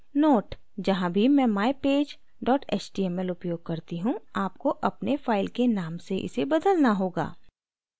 note: जहाँ भी मैं mypage html उपयोग करती हूँ आपको अपने फाइल के नाम से इसे बदलना होगा